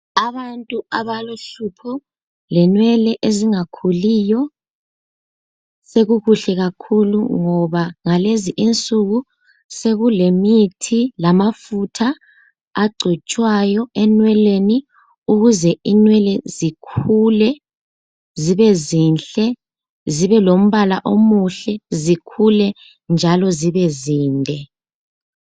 Abantu abalohlupho lenwele ezingakhuliyo sekukuhle kakhulu ngoba ngalezi insuku sekulemithi lamafutha agcotshwayo enweleni ukuze inwele zikhule zibezinhle zibelombala omuhle zikhule njalo zibezinde.